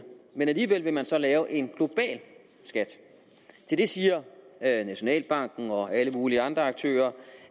men alligevel vil man så lave en global skat til det siger nationalbanken og alle mulige andre aktører